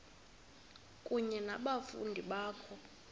kunye nabafundi bakho